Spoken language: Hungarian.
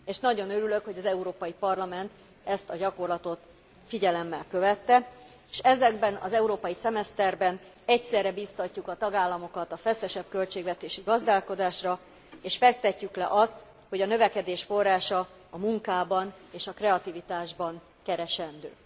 És nagyon örülök, hogy az Európai Parlament ezt a gyakorlatot figyelemmel követte, s ebben az európai szemeszterben egyszerre biztatjuk a tagállamokat a feszesebb költségvetési gazdálkodásra és fektetjük le azt, hogy a növekedés forrása a munkában és a kreativitásban keresendő.